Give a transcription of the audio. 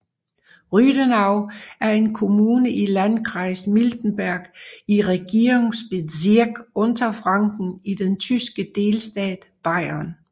Rüdenau er en kommune i Landkreis Miltenberg i Regierungsbezirk Unterfranken i den tyske delstat Bayern